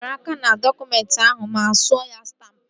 E binyere aka n'dọkụmentị ahụ ma suo ya stampụ